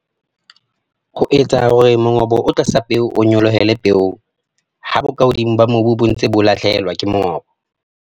Ho etsa hore mongobo o tlasa peo o nyolohele peong ha bokahodimo ba mobbu bo ntse bo lahlehelwa ke mongobo.